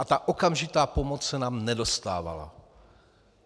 A ta okamžitá pomoc se nám nedostávala.